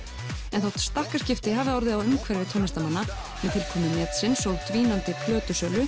en þó stakkaskipti hafi orðið á umhverfi tónlistarmanna með tilkomu netsins og dvínandi